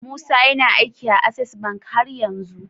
Musa yAna aiki a access bank haryanzu?